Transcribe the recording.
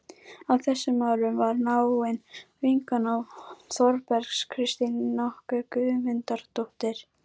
Á þessum árum var náin vinkona Þórbergs Kristín nokkur Guðmundardóttir.